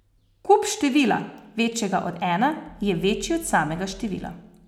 Kub števila, večjega od ena, je večji od samega števila.